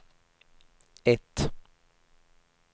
ett